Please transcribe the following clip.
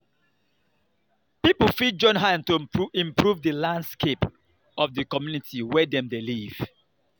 pipo fit join hand to improve di landscape of the community wey dem dey live